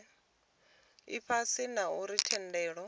ifhasi na u ri tendela